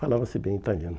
Falava-se bem italiano.